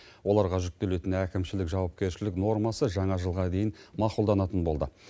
оларға жүктелетін әкімшілік жауапкершілік нормасы жаңа жылға дейін мақұлданатын болды